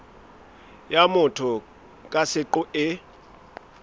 ya motho ka seqo e